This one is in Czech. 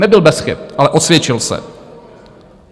Nebyl bez chyb, ale osvědčil se.